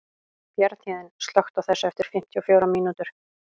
Bjarnhéðinn, slökktu á þessu eftir fimmtíu og fjórar mínútur.